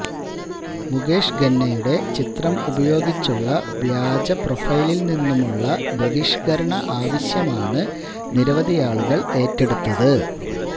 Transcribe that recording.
മുകേഷ് ഖന്നയുടെ ചിത്രം ഉപയോഗിച്ചുള്ള വ്യാജ പ്രൊഫൈലില് നിന്നുമുളള ബഹിഷ്കരണ ആവശ്യമാണ് നിരവധിയാളുകള് ഏറ്റെടുത്തത്